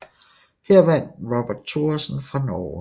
Her vandt Robert Thoresen fra Norge